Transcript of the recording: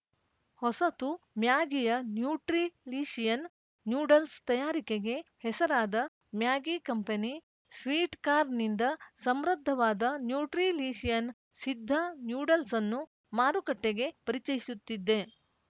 ಹೊಸತು ಮ್ಯಾಗಿಯ nutrilicious noodles ತಯಾರಿಕೆಗೆ ಹೆಸರಾದ ಮ್ಯಾಗಿ ಕಂಪೆನಿ ಸ್ವೀಟ್‌ಕಾರ್ನ್‌ನಿಂದ ಸಮೃದ್ಧವಾದ ನ್ಯೂಟ್ರಿಲೀಷಿಯನ್ ಸಿದ್ಧ ನ್ಯೂಡಲ್ಸ್‌ಅನ್ನು ಮಾರುಕಟ್ಟೆಗೆ ಪರಿಚಯಿಸುತ್ತಿದ್ದೆ